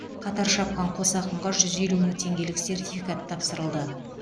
қатар шапқан қос ақынға жүз елу мың теңгелік сертификат тапсырылды